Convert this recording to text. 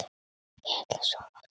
Ég ætla að sofa úti.